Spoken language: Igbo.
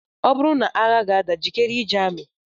Ọ bụrụ na agha ga-ada, jikere ije amị